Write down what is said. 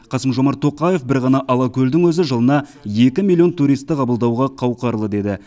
қасым жомарт тоқаев бір ғана алакөлдің өзі жылына екі миллион туристі қабылдауға қауқарлы деді